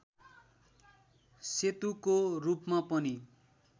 सेतुको रूपमा पनि